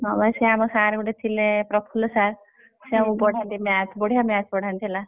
ହଁ ବା ସିଏ ଆମ sir ଗୋଟେ ଥିଲେ ପ୍ରଫୁଲ sir ସିଏ ଆମକୁ ପଢାନ୍ତି Math ବଢିଆ Math ପଢାନ୍ତି ହେଲା।